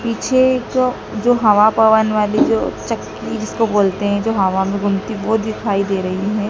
पीछे जो जो हवा पवन वाली जो चक्की जिसको बोलते हैं जो हवा में घूमती है वो दिखाई दे रही है।